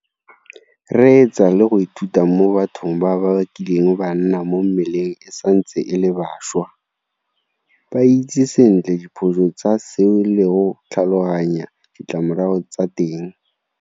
Reetsa le go ithuta mo bathong ba ba kileng ba nna mo mmeleng e santse e le bašwa. Ba itse sentle diphoso tsa seo le go tlhaloganya ditlamorago tsa teng.